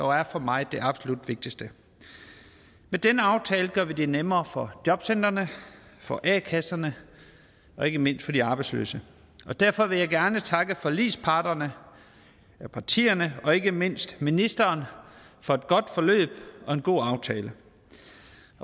er for mig det absolut vigtigste med denne aftale gør vi det nemmere for jobcentrene for a kasserne og ikke mindst for de arbejdsløse derfor vil jeg gerne takke forligsparterne partierne og ikke mindst ministeren for et godt forløb og en god aftale